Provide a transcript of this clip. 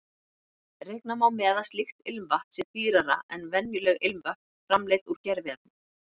Reikna má með að slíkt ilmvatn sé dýrara en venjuleg ilmvötn framleidd úr gerviefnum.